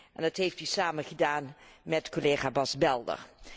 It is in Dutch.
En dat heeft hij samen gedaan met collega Bas Belder.